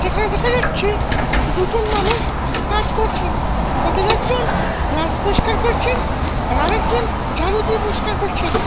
এখানে দেখা যাচ্ছে দুজন মানুষ কাজ করছেন তাদের একজন গ্লাস পরিষ্কার করছেন আর আরেকজন ঝাড়ু দিয়ে পরিষ্কার করছেন।